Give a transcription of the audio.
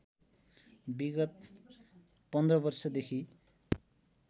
विगत १५ वर्षदेखि